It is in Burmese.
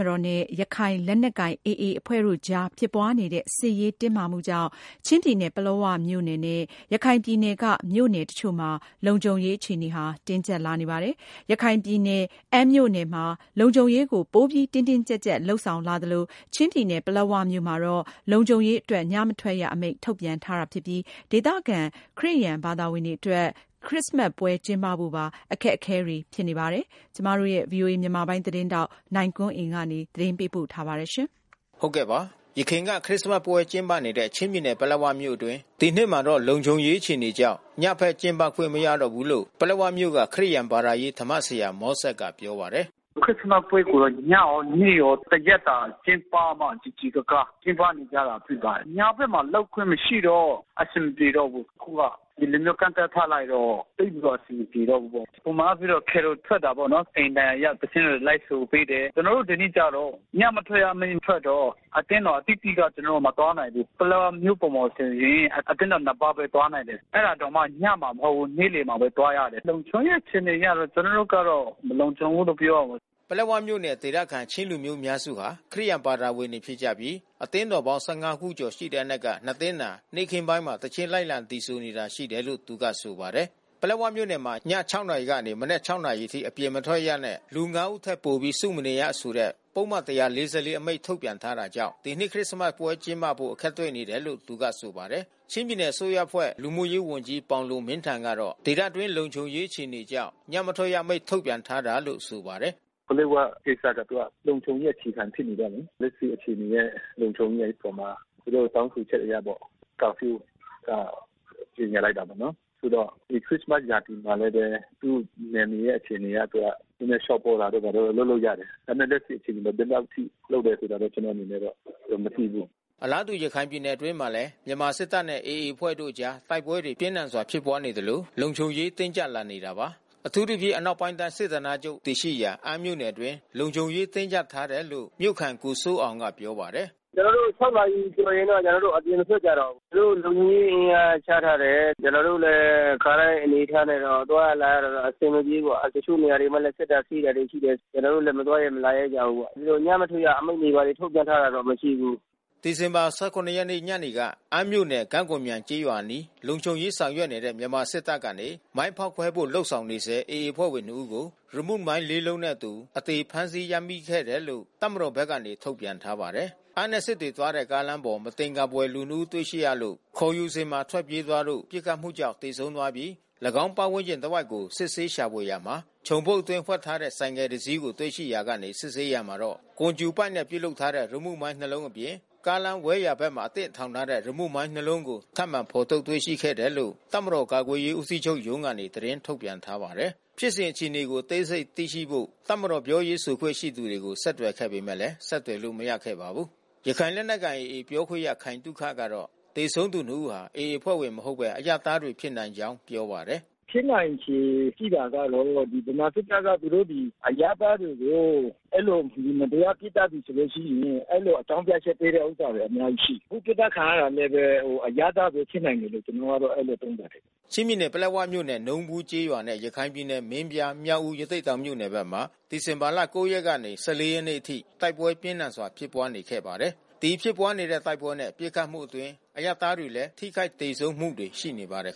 မတော်နဲ့ ရခိုင်လက်နက်ကိုင် AA အဖွဲ့တို့အကြားဖြစ်ပွါးနေတဲ့ စစ်ရေးတင်းမာမှုကြောင့် ချင်းပြည်နယ် ပလက်၀ မြို့နယ်နဲ့ ရခိုင်ပြည်နယ် မြို့နယ်တချို့မှာ လုံခြုံရေး တင်းကြပ်လာနေပါတယ်။ ရခိုင်ပြည်နယ် အမ်းမြို့နယ်မှာ လုံခြုံရေးကို ပိုပြီး တင်းတင်းကြပ်ကြပ် လုပ်ဆောင်လာသလို ချင်းပြည်နယ် ပလက်ဝမြို့မှာတော့ လုံခြုံရေးအတွက် ညမထွက်ရ အမိန့် ထုတ်ပြန်ထားတာ ဖြစ်ပြီး ဒေသခံ ခရစ်ယန်တွေ အတွက်တော့ ခရစ္စမတ်ပွဲ ကျင်းပဖို့ပါ အခက်အခဲတွေ ဖြစ်နေ တာပါ။ ဗွီအိုအေမြန်မာပိုင်း သတင်းထောက် နိုင်ကွန်းအိန်ကနေ သတင်းပေးပို့ ထားပါတယ်။ ယခင်က ခရစ်စမတ်ပွဲ ကျင်းပနေတဲ့ ချင်းပြည်နယ် ပလက်ဝမြို့အတွင်း ဒီနှစ်မှာတော့ လုံံခြုံရေးအခြေအနေကြောင့် ညဖက်ကျင်းပခွင့် မရတော့ဘူးလို့ ပလက်ဝမြို့က ခရစ်ယာန် ဘာသာရေးဓမ္မဆရာ မောဆက်ကပြောပါတယ်။ “ခရစ်စမတ်ပွဲကိုတော့ ညရောနေ့ရော တရက်တာကျင်းပမှ စည်စည်ကားကား ကျင်းပနေကြတာဖြစ်ပါတယ်။ ညဖက်မှာ လုပ်ခွင့်မရှိတော့ အဆင်မပြေတော့ဘူး။ အခုက ဒီလိုမျိုး ကန့်သတ်ထားလိုက်တော့ သိပ်ပြီးတော့ အဆင်မပြေ တော့ဘူး ပေါ့။ ပုံမှန်အားဖြင့်တော့ Carol ထွက်တာပေါ့နော် အိမ်တိုင်ယာရောက် သီချင်းတွေ လိုက်ဆိုပေးတယ်။ ကျွန်တော်တို့ ဒီနှစ် ကျတော့ ညမထွက်ရအမိန့်ထွက်တော့ အသင်းတော် အသီးသီးက ကျွန်တော်တို့ မသွားနိုင်ဘူး။ ပလက်ဝမြို့ပေါ်မှာ ဆိုရင် အသင်းတော် ပါးဘဲ သွားနိုင်တယ်။ အဲတာတောင်မှ ညမှာမဟုတ်ဘူး။ နေ့လယ်မှာဘဲ သွားရတယ်။ လုံခြုံရေးအခြေ အနေ အရတော့ ကျွန်တော်တို့ကတော့ မလုံခြုံဘူးလို့ပြောရမယ်။” ပလက်ဝမြို့နယ် ဒေသခံ ချင်းလူမျိုးအများစုဟာ ခရစ်ယာန်ဘာသာဝင်တွေ ဖြစ်ကြပြီး အသင်းတော်ပေါင်း ခုကျော် ရှိတဲ့အနက်က သင်းသာ နေ့ခင်းပိုင်းမှာ သီချင်း လိုက်လံဆိုနေတာ ရှိတယ်လို့ သူကဆိုပါတယ်။ ပလက်ဝမြို့နယ်မှာ ည နာရီကနေ မနက် နာရီအထိ အပြင်မထွက်ရနဲ့ လူ ဦးထက်ပိုပြီး စုမနေရဆိုတဲ့ ပုဒ်မ အမိန့် ထုတ်ပြန်ထားကြောင့် ဒီနှစ်ခရစ္စမတ်ပွဲ ကျင်းပဖို့ အခက်တွေ့နေတယ်လို့ သူကဆိုပါတယ်။ ချင်းပြည်နယ် အစိုးရအဖွဲ့ လူမှုရေးဝန်ကြီး ပေါင်လွန်မင်းထန် ကတော့ ဒေသအတွင်း လုံခြုံရေးအခြေအနေကြောင့် ညမ ထွက်ရအမိန့် ထုတ်ပြန်ထားတာလို့ ဆိုပါတယ်။ “ပလက်ဝကိစ္စကျ သူကလုံခြုံရေး အခြေခံဖြစ်နေတော့လေ လက်ရှိ အခြေအနေရဲ့လုံခြုံရေးအပေါ်မှာ သူတို့တောင်းဆိုခ ျက်အရပေါ့။ ကာဖြူး ကြေညာလိုက်တာ ပေါ့နော်။ ခုတော့ ဒီခရစ္စမတ် ရာသီမှာလည်းဘဲ သူ့နယ်မြေရဲ့အခြေအနေအရ သူက နည်းနည်း လျှော့ပေါ့တာတို့ လုပ်လို့ရတယ်။ ဒါပေမဲ့ လက်ရှိအခြေအနေတော့ ဘယ်လောက်အထိ လုပ်တာဆိုတာတော့ ကျွန်တော်အနေနဲ့ မသိဘူး။” အလားတူ ရခိုင်ပြည်နယ် အတွင်းမှာလည်း မြန်မာစစ်တပ်နဲ့ AAအဖွဲ့တို့ အကြား တိုက်ပွဲတွေ ပြင်းထန်စွာ ဖြစ်ပွါးနေသလို လုံခြုံရေး တင်းကြပ်လာနေတာပါ။ အထူးသဖြင့် အနောက်ပိုင်းတိုင်း စစ်ဌာနချုပ် တည်ရှိရာ အမ်းမြို့နယ်အတွင်း လုံခြုံရေး တင်းကြပ်ထားတယ်လို့ မြို့ခံ ကိုစိုးအောင်က ပြောပါတယ်။ “ကျွန်တော်တို့ နာရီကျော်ရင် အပြင်မထွက်ကြတော့ဘူး။ သူတို့ လုံခြုံရေး အင်အားချထားတယ်။ ကျွန်တော်တို့တော့ ခါတိုင်း အနေအထားနဲ့တော့ သွားရလာရတာတော့ အဆင်မပြေဘူးပေါ့။ တချို့နေရာမှာလည်း စစ်တာဆေးတာ ရှိတယ် ဆိုတော့ ကျွန်တော်တို့လည်း မသွားရဲမလာရဲကြဘူးပေါ့။ ညမထွက်ရ အမိန့်ထုတ်ပြန်ထားတာတော့ မရှိဘူး။” ဒီဇင်ဘာ ရက်နေ့ညနေက အမ်းမြို့နယ် ကံ့ကော်မြိုင် ကျေးရွာအနီး လုံခြုံရေး ဆောင်ရွက်နေတဲ့ မြန်မာစစ်တပ် ကနေ မိုင်းဖေါက်ခွဲ ဖို့လုပ်ဆောင်နေဆဲ AA အဖွဲ့ဝင် ၂ဦးကို ရီမုမိုင်းလေးလုံးနှင့်အတူ အသေဖမ်းဆီး ရမိခဲ့တယ်လို့ တပ်မတော်ဘက်က ထုတ်ပြန်ထားပါတယ်။ အမ်းနဲ့ စစ်တွေသွားတဲ့ ကားလမ်းပေါ် မသင်္ကာဖွယ် လူ ၂ ဦး တွေ့ရှိရလို့ ခေါ်ယူစဉ်မှာထွက်ပြေးသွားလို့ ပစ်ခတ်မှု ကြောင့် သေဆုံးသွားပြီး ၎င်းဝန်းကျင်တစ်ဝိုက်ကို စစ်ဆေးရှာဖွေရာ ချုံပုတ်အတွင်း ဝှက်ထားတဲ့ ဆိုင်ကယ်တစီးကို တွေ့ရှိရာကနေ စစ်ဆေးရာမှာ ကွန်ကြူပိုက်နဲ့ ပြုလုပ်ထားတဲ့ ရီမုမိုင်းနှစ်လုံးအပြင် ကားလမ်း ဝဲ/ယာဘက်မှာ အသင့်ထောင်ထားတဲ့ ရီမုမိုင်းနှစ်လုံးကို ထပ်မံဖော်ထုတ် တွေ့ရှိခဲ့တယ်လို့ တပ်မတော် ကာကွယ်ရေး ဦးစီးချုပ်ရုံး ကနေ သတင်းထုတ်ပြန်ထားပါတယ်။ ဖြစ်စဉ် အခြေအနေကို အသေးစိတ် သိရှိဖို့ တပ်မတော် ပြောရေးဆိုခွင့် ရှိသူတွေကို ဆက်သွယ်ခဲ့ပေမယ့် ဆက်သွယ်လို့ မရခဲ့ပါဘူး။ ရခိုင်လက်နက်ကိုင် AAပြောခွင့်ရ ခိုင်သုခကတော့ သေဆုံးသူ ၂ ်ဦးဟာ AA အဖွဲ့ဝင်မဟုတ်ဘဲ အရပ်သားတွေဖြစ်နိုင် ကြောင်းပြောပါတယ်။ “ဖြစ်နိုင်ချေ ရှိတာကတော့ ဗမာစစ်တပ်ဖက်က သူတို့ဒီ အရပ်သားတွေကို မတရားပစ်သတ်ပြီ ဆိုလို့ရှိရင် အဲဒီလို အကြောင်း ပြချက်ပေးတဲ့ ဟာတွေ အများကြီးရှိတယ်။ အခု ပစ်သတ်ခံရတာ လည်းဘဲ အရပ်သားတွေဖြစ်နိုင်တယ်လို့ ကျွန်တော်ကတော့ အဲဒီလိုသုံးသပ်တယ်။” ချင်းပြည်နယ် ပလက်ဝမြို့နယ် နုံးဘူးကျေးရွာနဲ့ ရခိုင်ပြည်နယ် မင်းပြား၊ မြောက်ဦး၊ ရသေ့တောင်မြို့နယ်ဖက်မှာ ဒီဇင်ဘာ ရက်နေ့ကနေ ရက်နေ့အထိ တိုက်ပွဲပြင်းထန်စွာ ဖြစ်ပွါးနေခဲ့ပါတယ်။ ဒီဖြစ်ပွါးနေတဲ့ တိုက်ပွဲနဲ့ ပစ်ခတ်မှုအတွင်း အရပ်သားတွေလည်း ထိခိုက်သေဆုံးမှုတွေ ရှိနေပါတယ်